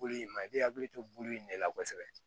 Bul'i ma i bɛ hakili to bulu in de la kosɛbɛ